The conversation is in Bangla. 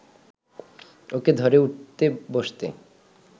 ওকে ধরে উঠে বসতে